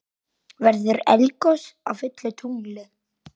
Verður egglos á fullu tungli?